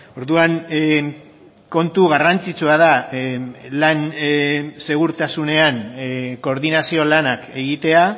orduan kontu garrantzitsua da lan segurtasunean koordinazio lanak egitea